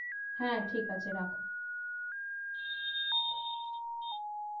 হ্যাঁ ঠিক আছে রাখ